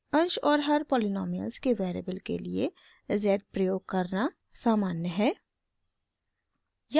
अंश और हर पॉलीनॉमिअल्स में वेरिएबल के लिए z प्रयोग करना सामान्य है